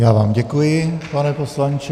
Já vám děkuji, pane poslanče.